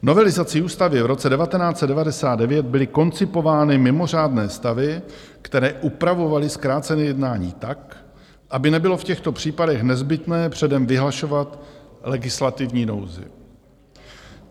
Novelizací ústavy v roce 1999 byly koncipovány mimořádné stavy, které upravovaly zkrácené jednání tak, aby nebylo v těchto případech nezbytné předem vyhlašovat legislativní nouzi.